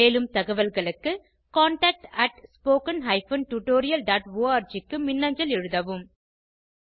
மேலும் தகவல்களுக்கு contactspoken tutorialorg க்கு மின்னஞ்சல் எழுதவும்